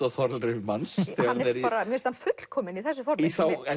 á þolrif manns þegar hann er í mér finnst hann fullkominn í þessu formi